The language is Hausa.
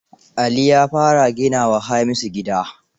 Ali ya fara gina wa Hamisu gida.